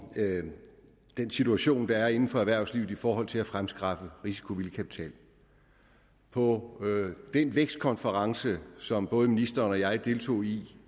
den situation der er inden for erhvervslivet i forhold til at fremskaffe risikovillig kapital på den vækstkonference som både ministeren og jeg deltog i